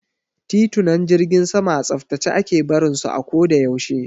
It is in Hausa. Titunan jirgin sama a tsaftace ake barin su a ko da yaushe.